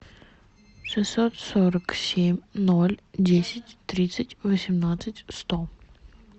шестьсот сорок семь ноль десять тридцать восемнадцать сто